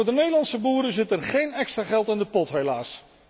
Maar voor de Nederlandse boeren zit er geen extra geld in de pot, helaas.